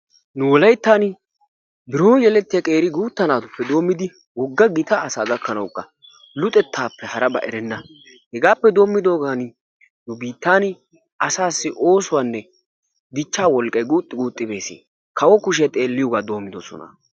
Nu Wolayttan biron yelettiyaa qeri gutta naatuppe doomidi wogga gita asaa gakkanawuka luxettaappe harabaa erenna. Hegaappe doommidoogan nu biittaan asaassi oosuwaanne dichaa wolqqay guuxxi guuxxi bees. kawo kuushiyaa xeelliyoogaa doomidosona.